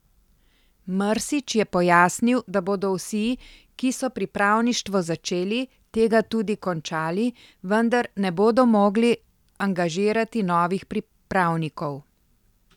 Mrsić je pojasnil, da bodo vsi, ki so pripravništvo začeli, tega tudi končali, vendar ne bodo mogli angažirati novih pripravnikov.